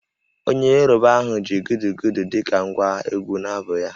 Onye Yoruba ahụ ji Gudugudu dị ka ngwa egwú n’abụ ya